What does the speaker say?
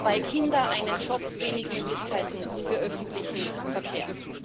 Zwei Kinder, einen Job, wenig Möglichkeiten für öffentlichen Verkehr.